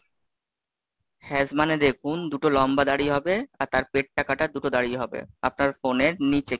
Haze মানে দেখুন, দুটো লম্বা দাড়ি হবে, আর তার পেটটা কাটা দুটো দাড়ি হবে, আপনার ফোনের নিচে,